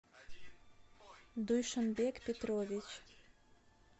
дуйшанбек петрович